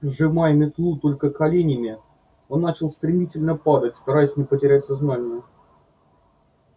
сжимая метлу только коленями он начал стремительно падать стараясь не потерять сознание